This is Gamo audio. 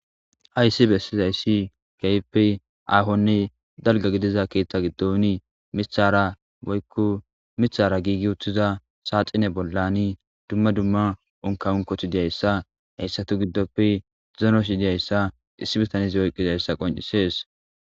hayssi bessizayssi keehppe aahonni dalga gidiza keeththa giddoni mithara woykku mithara giigi utthiza saaxine bollani dumma dumma unkawunkoti diyayssa heyssatu giddoppi zenosi diyayssa issi bitanzi woyqqizayssa qoncisees